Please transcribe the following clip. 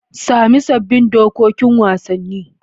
Sami sabbin dokokin wasanni.